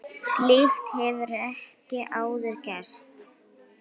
Slíkt hefur ekki áður gerst.